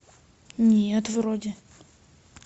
нет вроде